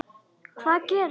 Hvað gerist?